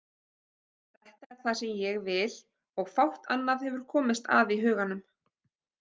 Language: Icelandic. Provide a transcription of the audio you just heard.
Þetta er það sem ég vil og fátt annað hefur komist að í huganum.